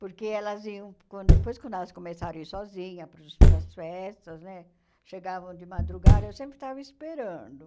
Porque elas iam quando... Depois, quando elas começaram a ir sozinhas para os para as festas né, chegavam de madrugada, eu sempre estava esperando.